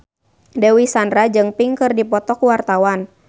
Dewi Sandra jeung Pink keur dipoto ku wartawan